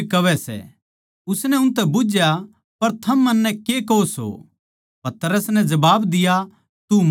उसनै उनतै बुझ्झया पर थम मन्नै के कहो सो पतरस नै जबाब दिया तू मसीह सै